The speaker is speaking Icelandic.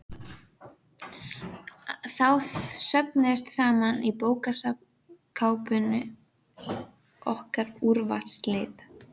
Þá söfnuðust saman í bókaskápnum okkar Úrvalsrit